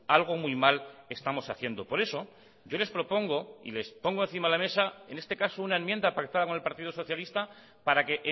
algo muy mal estamos haciendo por eso yo les propongo y les pongo encima de la mesa en este caso una enmienda pactada con el partido socialista para que